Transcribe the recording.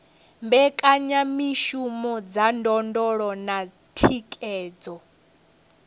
mbekanyamishumo dza ndondolo na thikhedzo